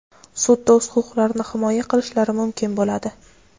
sudda o‘z huquqlarini himoya qilishlari mumkin bo‘ladi.